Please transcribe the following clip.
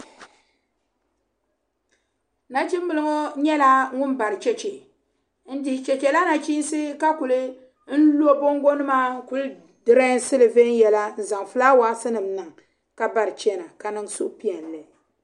Nachin bili ŋɔ nyɛ la ŋun bari chɛchɛ ndihi chɛchɛ la nachisi ka kuli lo bonngo nima n kuli drɛɛsi li vɛnyɛla n zaŋ flawaasi nim n niŋ ka bari chɛna ka niŋ suhi Pɛilli.